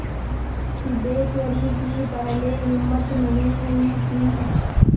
सिद्धेश्वरी की पहले हिम्मत नहीं हुई कि